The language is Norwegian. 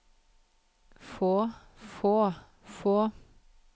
få få få